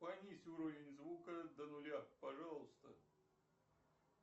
понизь уровень звука до нуля пожалуйста